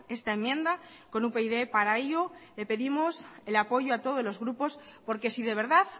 esta enmienda con upyd para ello le pedimos el apoyo a todos los grupos porque si de verdad